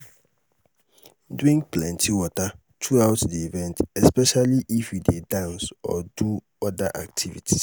drink plenty water throughout di event especially if you dey dance or do oda activities